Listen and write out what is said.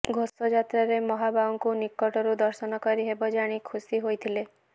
ଘୋଷଯାତ୍ରାରେ ମହାବାହୁଙ୍କୁ ନିକଟରୁ ଦର୍ଶନ କରିହେବ ଜାଣି ଖୁସି ହୋଇଥିଲେ